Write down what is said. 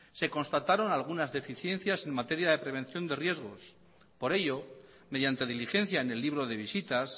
se constataron algunas deficiencias en materia de prevención de riesgos por ello mediante diligencia en el libro de visitas